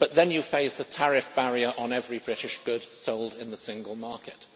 But then you face a tariff barrier on every British good sold in the single market.